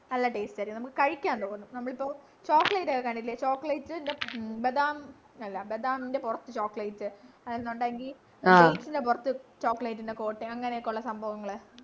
നല്ല taste ആയിരിക്കും നമുക്ക് കഴിക്കാം നമ്മളിപ്പോ chocolate ഒക്കെ കണ്ടിട്ടില്ലേ chocolate ബദാം നല്ല ബദാമിൻ്റെ പുറത്തു chocolate ന്നൊണ്ടെങ്കി dates ൻ്റെ പുറത്തു dates ൻ്റെ chocolate അങ്ങനെയൊക്കെയുള്ള സംഭവങ്ങള്